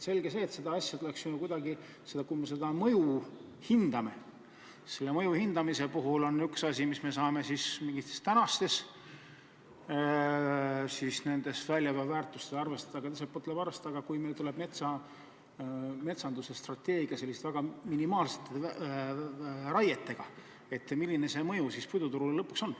Selge see, et kui me seda mõju hindame, siis on üks asi, kui me saame mingites tänastes väljaveoväärtustes arvestada, aga teiselt pool tuleb arvestada, et kui meil metsanduse strateegias on väga minimaalsed raied, milline see mõju puiduturule siis lõpuks on.